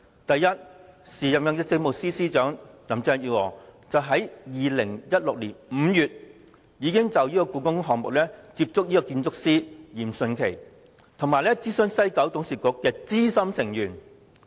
第一，時任政務司司長林鄭月娥於2016年5月，已經就故宮館項目接觸建築師嚴迅奇，以及諮詢西九董事局資深成員。